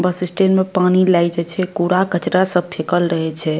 बस stand में पानी लागे छै छै कूड़ा कचड़ा सब फेकल रहे छै।